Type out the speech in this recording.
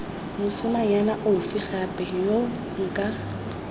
mosimanyana ofe gape yo nka